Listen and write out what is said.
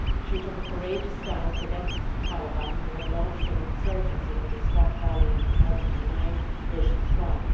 She took a courageous stance against the Taliban, who launched an insurgency in the Swat Valley in 2009 where she is from.